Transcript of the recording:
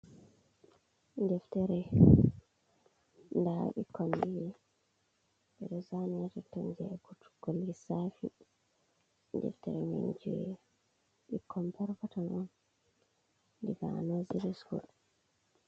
Deftere daa ɓikkon jii jei lissafi deftere man jei ɓikkon peton peton on be zane be do sura.